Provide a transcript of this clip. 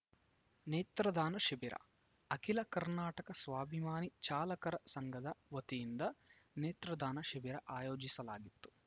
ನೇತ್ರದಾನ ಶಿಬಿರ ಅಖಿಲ ಕರ್ನಾಟಕ ಸ್ವಾಭಿಮಾನಿ ಚಾಲಕರ ಸಂಘದ ವತಿಯಿಂದ ನೇತ್ರದಾನ ಶಿಬಿರ ಆಯೋಜಿಸಲಾಗಿತ್ತು